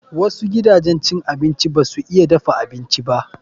Wasu gidajen cin abinci ba su iya dafa abinci ba.